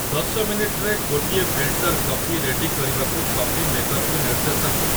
ଦଶ ମିନିଟ୍‌ରେ ଗୋଟିଏ ଫିଲ୍ଟର କଫି ରେଡି କରିବାକୁ କଫି ମେକରକୁ ନିର୍ଦ୍ଦେଶ ଦିଅ